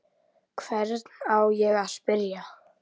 Hvern á ég að spyrja?